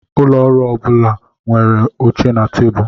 Ụlọ ọrụ ọ bụla nwere oche na tebụl.